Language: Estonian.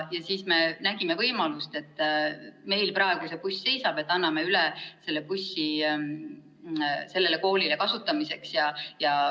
Siis me nägime võimalust ja otsustasime, et kuna meil praegu buss seisab, siis me anname selle üle sellele koolile kasutamiseks.